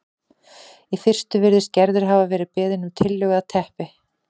Í fyrstu virðist Gerður hafa verið beðin um tillögu að teppi